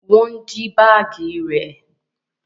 Wọn jí baagi rẹ